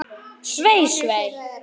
Svei, svei.